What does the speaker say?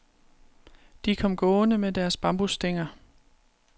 De kom gående med deres bambusstænger.